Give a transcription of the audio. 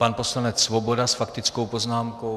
Pan poslanec Svoboda s faktickou poznámkou.